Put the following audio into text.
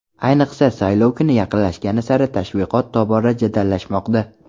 Ayniqsa, saylov kuni yaqinlashgani sari tashviqot tobora jadallashmoqda.